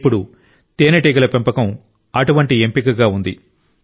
ఇప్పుడు తేనెటీగల పెంపకం అటువంటి ఎంపికగా ఉంది